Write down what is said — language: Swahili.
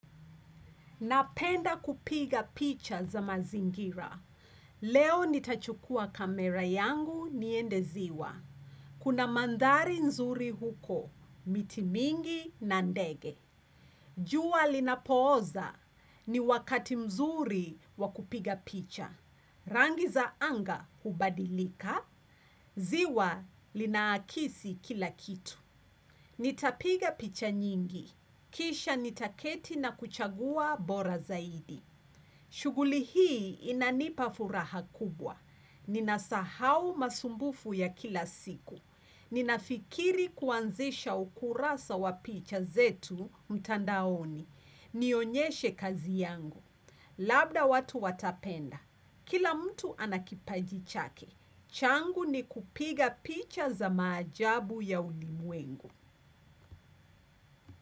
Napenda kupiga picha za mazingira. Leo nitachukua kamera yangu niende ziwa. Kuna mandhari nzuri huko, miti mingi na ndege. Jua linapooza ni wakati mzuri wa kupiga picha. Rangi za anga hubadilika. Ziwa lina akisi kila kitu. Nitapiga picha nyingi. Kisha nitaketi na kuchagua bora zaidi. Shuguli hii inanipa furaha kubwa. Ninasahau masumbufu ya kila siku. Ninafikiri kuanzisha ukurasa wa picha zetu mtandaoni. Nionyeshe kazi yangu. Labda watu watapenda. Kila mtu anakipaji chake. Changu ni kupiga picha za majabu ya ulimwengu.